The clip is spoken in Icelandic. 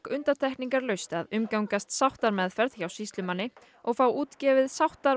undantekningarlaust að undirgangast sáttameðferð hjá sýslumanni og fá útgefið